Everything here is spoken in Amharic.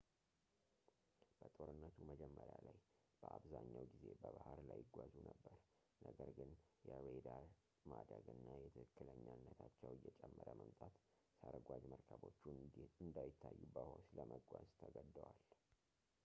በጦርነቱ መጀመሪያ ላይ በአብዛኛው ጊዜ በባህር ላይ ይጓዙ ነበር ነገር ግን የራዳር ማደግ እና የትክክለኛነታቸው እየጨመረ መምጣት ሰርጓጅ መርከቦቹ እንዳይታዩ በውኃ ውስጥ ለመጓዝ ተገደዋል